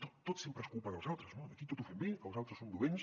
tot tot sempre és culpa dels altres no aquí tot ho fem bé els altres són dolents